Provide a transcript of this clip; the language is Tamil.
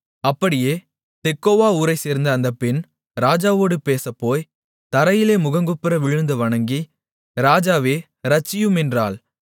அப்படியே தெக்கோவா ஊரைச்சேர்ந்த அந்த பெண் ராஜாவோடு பேசப்போய் தரையிலே முகங்குப்புற விழுந்து வணங்கி ராஜாவே இரட்சியும் என்றாள்